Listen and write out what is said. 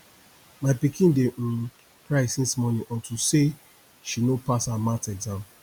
my pikin dey um cry since morning unto say she no pass her math exam